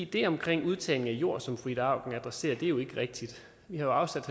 det omkring udtagning af jord som fru ida auken adresserer er jo ikke rigtigt vi har jo afsat